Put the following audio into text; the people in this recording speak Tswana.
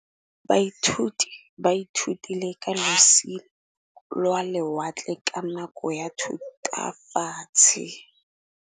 Baithuti ba ithutile ka losi lwa lewatle ka nako ya Thutafatshe.